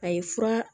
A ye fura